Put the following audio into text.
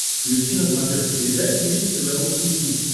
включи на смотрешке передачу бридж тв русский хит